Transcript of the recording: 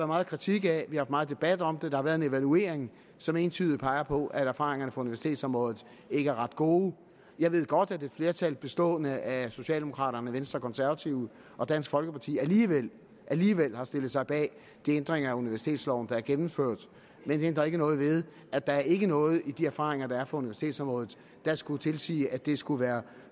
meget kritik af vi har meget debat om det der har været en evaluering som entydigt peger på at erfaringerne fra universitetsområdet ikke er ret gode jeg ved godt at et flertal bestående af socialdemokraterne venstre konservative og dansk folkeparti alligevel alligevel har stillet sig bag de ændringer af universitetsloven der er gennemført men det ændrer ikke noget ved at der ikke er noget i de erfaringer der er fra universitetsområdet der skulle tilsige at det skulle være